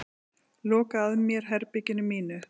Loka að mér herberginu mínu.